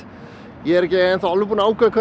ég er ekki enn þá alveg búinn að ákveða hvað